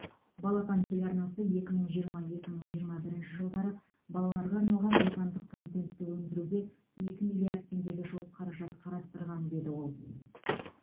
балапан телеарнасы екі мың жиырма екі мың жиырма бірінші жылдары балаларға арналған отандық контентті өндіруге екі мтллиард теңгеге жуық қаражат қарастырған деді ол